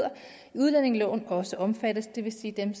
i udlændingeloven også omfattes det vil sige dem